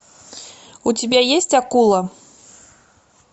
у тебя есть акула